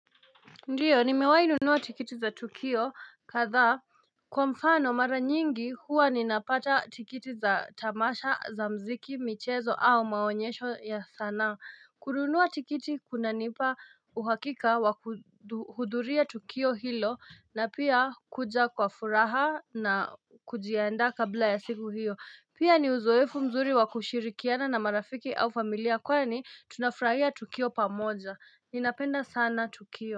Ndiyo ni mewainunuwa tikiti za Tukio katha kwa mfano mara nyingi huwa ninapata tikiti za tamasha za mziki michezo au maonyesho ya sana Kurunuwa tikiti kuna nipa. Uhakika wa hudhuria Tukio hilo na pia kuja kwa furaha na kujiandaa kabla ya siku hiyo. Pia ni uzoefu mzuri wa kushirikiana na marafiki au familia kwa ni tunafraia Tukio pamoja, ninapenda sana Tukio.